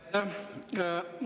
Aitäh!